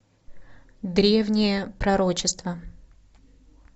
древнее пророчество